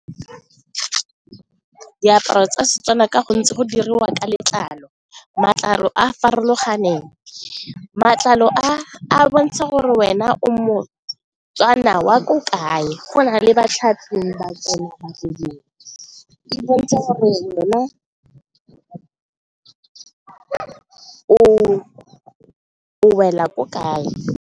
Diaparo tsa Setswana ka gontsi go diriwa ka letlalo, matlalo a a farologaneng, matlalo a bontsha gore wena o mo-Tswana wa ko kae, go na le ba tsena ba lebelele, e bontshe gore o wela ko kae.